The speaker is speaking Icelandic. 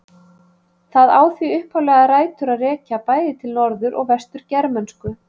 Það á því upphaflega rætur að rekja bæði til norður- og vestur-germönsku.